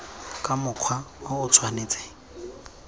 ka mokgwa o o tshwanetseng